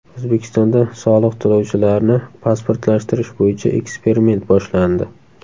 O‘zbekistonda soliq to‘lovchilarni pasportlashtirish bo‘yicha eksperiment boshlandi.